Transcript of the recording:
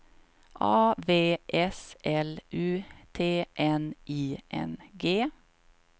A V S L U T N I N G